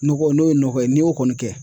Nɔgɔ n'o ye nɔgɔ ye n'i y'o kɔni kɛ